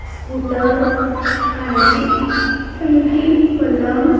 scooter पाण्याची टंकी पलंग--